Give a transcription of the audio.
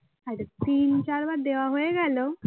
আরে তিন চারবার দেওয়া হয়ে গেল